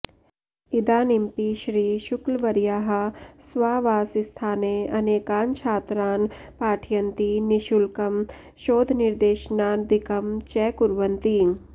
इदानिमपि श्री शुक्लवर्याः स्वावासस्थाने अनेकान् छात्रान् पाठयन्ति निःशुल्कम् शोधनिर्देशनादिकम् च कुर्वन्ति